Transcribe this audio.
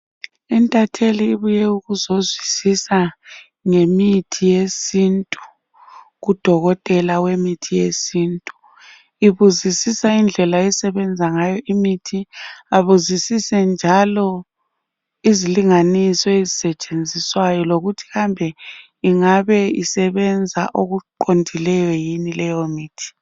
Intatheli ibuye ukuzozwisisa ngemithi yesintu kudokotela wemithi yesintu. Ibuzisisa indlela esebenza ngayo imithi ibuzisise njalo izilinganiso ezisetshenziswayo lokuthi kambe ingabe isebenza okuqondileyo yini leyo mithi.